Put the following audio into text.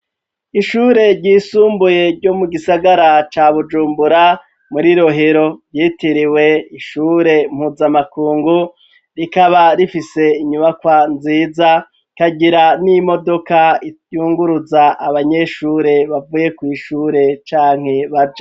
Ishure ryisumbuye ryo mu gisagara ca bujumbura muri rohero ryitiriwe ishure mpuza amakungu rikaba rifise inyubakwa nziza kagira n'imodoka iyunguruza abanyeshure bavuye kw'ishure canke baje.